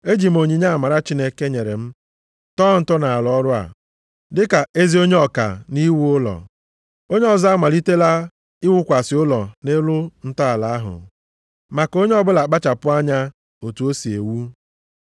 Eji m onyinye amara Chineke nyere m tọọ ntọala ọrụ a, dịka ezi onye ọka nʼiwu ụlọ, onye ọzọ amalitela iwukwasị ụlọ nʼelu ntọala ahụ. Ma ka onye ọbụla kpachapụ anya otu o si ewu.